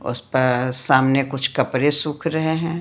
उस पर सामने कुछ कपड़े सूख रहे हैं।